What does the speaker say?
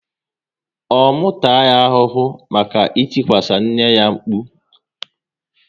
Ọ mụ taa ya ahụhụ maka itikwasi nne ya mkpu?